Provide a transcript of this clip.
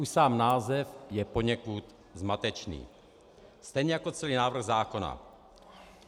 Už sám název je poněkud zmatečný, stejně jako celý návrh zákona.